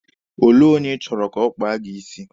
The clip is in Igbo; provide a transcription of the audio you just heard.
Olee onye ị chọrọ ka ọ kpaa gị isi?